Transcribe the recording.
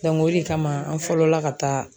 o de kama an fɔlɔla ka taa